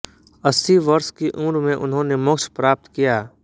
अस्सी वर्ष की उम्र में उन्होंने मोक्ष प्राप्त किया